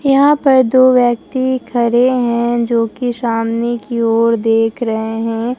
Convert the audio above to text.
यहां पर दो व्यक्ति खड़े हैं जोकि सामने की ओर देख रहे हैं।